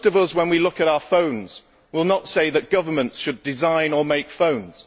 When we look at our phones, most of us will not say that governments should design or make phones.